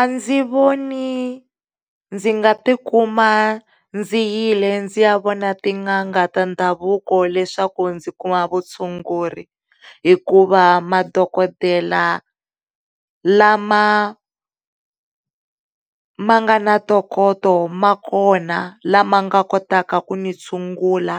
A ndzi voni ndzi nga tikuma ndzi yi le ndzi ya vona tin'anga ta ndhavuko leswaku ndzi kuma vutshunguri hikuva madokodela la ma, ma nga na ntokoto ma kona lama nga kotaka ku ni tshungula